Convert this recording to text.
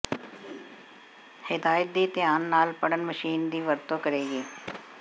ਹਦਾਇਤ ਦੀ ਧਿਆਨ ਨਾਲ ਪੜ੍ਹਨ ਮਸ਼ੀਨ ਦੀ ਵਰਤੋ ਕਰੇਗੀ